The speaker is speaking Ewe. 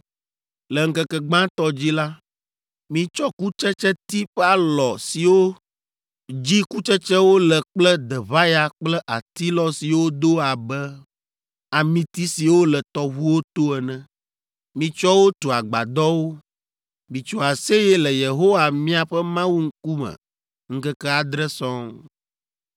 Le ŋkeke gbãtɔ dzi la, mitsɔ kutsetseti ƒe alɔ siwo dzi kutsetsewo le kple deʋaya kple atilɔ siwo do abe amiti siwo le tɔʋuwo to ene; mitsɔ wo tu agbadɔwo. Mitso aseye le Yehowa miaƒe Mawu ŋkume ŋkeke adre sɔŋ.